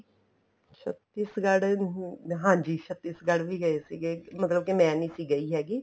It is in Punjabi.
ਛੱਤੀਸ਼ਗੜ ਹਾਂਜੀ ਛੱਤੀਸ਼ਗੜ ਗਏ ਸੀਗੇ ਮਤਲਬ ਕੇ ਮੈਂ ਨਹੀਂ ਸੀ ਗਈ ਹੈਗੀ